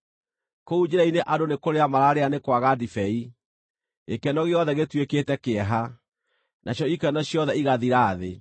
Kũu njĩra-inĩ andũ nĩ kũrĩra mararĩra nĩ kwaga ndibei, gĩkeno gĩothe gĩtuĩkĩte kĩeha, nacio ikeno ciothe igathira thĩ.